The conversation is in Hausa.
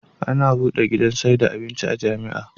Ana buɗe gidan saida abinci a jamia